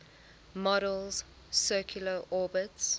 model's circular orbits